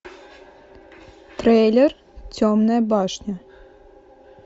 трейлер темная башня